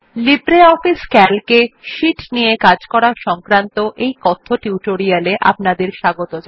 LibreOffice CALC এ sheet নিয়ে কাজ করা সংক্রান্ত কথ্য টিউটোরিয়াল এ স্বাগত